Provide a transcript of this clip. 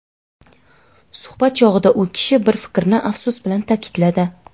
Suhbat chog‘ida u kishi bir fikrni afsus bilan taʼkidladi.